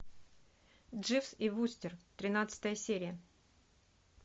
дживс и вустер тринадцатая серия